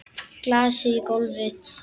Glasið í gólfið.